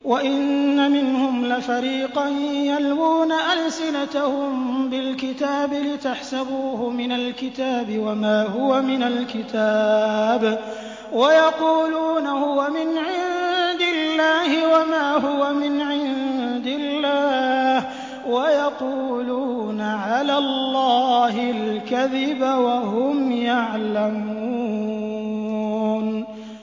وَإِنَّ مِنْهُمْ لَفَرِيقًا يَلْوُونَ أَلْسِنَتَهُم بِالْكِتَابِ لِتَحْسَبُوهُ مِنَ الْكِتَابِ وَمَا هُوَ مِنَ الْكِتَابِ وَيَقُولُونَ هُوَ مِنْ عِندِ اللَّهِ وَمَا هُوَ مِنْ عِندِ اللَّهِ وَيَقُولُونَ عَلَى اللَّهِ الْكَذِبَ وَهُمْ يَعْلَمُونَ